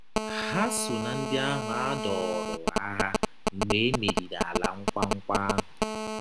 Ha so ná ndị ahụ a dọọrọ n’agha mgbe e meriri Ala Nkwa Nkwa ahụ